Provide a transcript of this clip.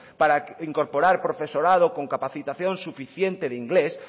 para incorporar profesorado con capacitación suficiente de inglés